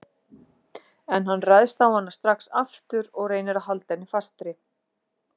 En hann ræðst á hana strax aftur og reynir að halda henni fastri.